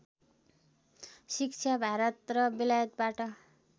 शिक्षा भारत र बेलायतबाट